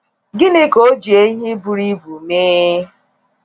Gịnị ka ọ ji ehi buru ibu mee?